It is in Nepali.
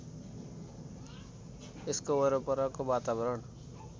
यसको वरपरको वातावरण